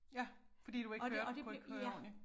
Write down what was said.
Ja fordi du ikke hørte kunne ikke høre ordentligt